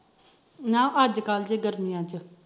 ਨਾ ਅੱਜ ਕੱਲ ਦੀ ਗਰਮੀਆਂ ਚ